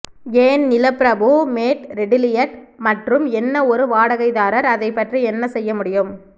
ஏன் நிலப்பிரபு மேட் ரெட்டிலியட் மற்றும் என்ன ஒரு வாடகைதாரர் அதை பற்றி என்ன செய்ய முடியும்